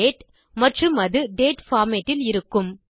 date மற்றும் அது date format இல் இருக்கும்